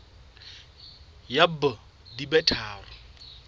ya b di be tharo